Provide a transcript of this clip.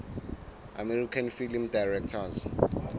american film directors